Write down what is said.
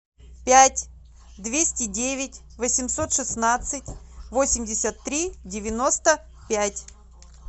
пять двести девять восемьсот шестнадцать восемьдесят три девяносто пять